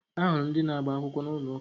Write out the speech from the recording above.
Ahụrụ m ndị na-agba akwụkwọ n'ụlọ ụka